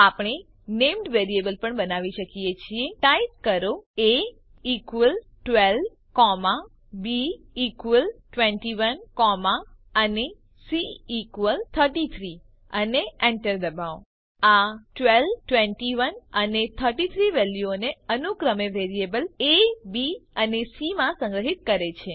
આપણે નેમ્ડ વેરીએબલો પણ બનાવી શકીએ છીએ ટાઈપ કરો એ ઇક્વલ્સ 12 b21 કોમા અને c33 અને enter દબાવો આ 12 21 અને 33 વેલ્યુઓને અનુક્રમે વેરીએબલ એ બી અને સી માં સંગ્રહિત કરે છે